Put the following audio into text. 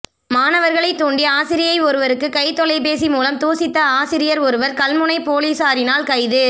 மாணவர்களை தூண்டி ஆசிரியை ஒருவருக்கு கை தொலைபேசி மூலம் தூசித்த ஆசிரியர் ஒருவர் கல்முனை பொலிசாரினால் கைது